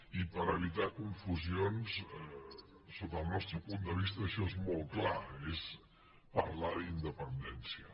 i per evitar confusions sota el nostre punt de vista això és molt clar és parlar d’independència